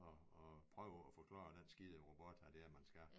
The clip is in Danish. Og og prøve at forklare den skide robot hvad det er man skal